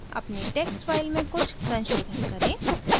अपनी text file में कुछ संशोधन करें